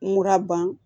Mura ban